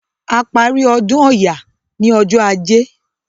A parí ọdún Ọya ní ọjọ́ Ajé.